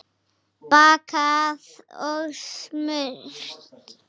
Bakað og smurt.